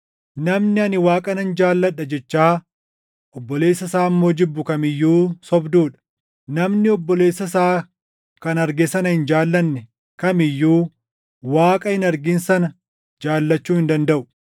Namni, “Ani Waaqa nan jaalladha” jechaa obboleessa isaa immoo jibbu kam iyyuu sobduu dha. Namni obboleessa isaa kan arge sana hin jaallanne kam iyyuu Waaqa hin argin sana jaallachuu hin dandaʼu.